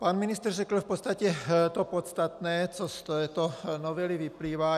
Pan ministr řekl v podstatě to podstatné, co z této novely vyplývá.